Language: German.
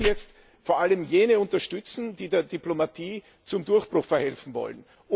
Wir müssen jetzt vor allem jene unterstützen, die der Diplomatie zum Durchbruch verhelfen wollen.